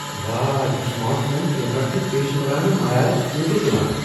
واہ! یہ smart phone camera چھ پیشورانہٕ معیارٕکۍ فوٹو تُلان۔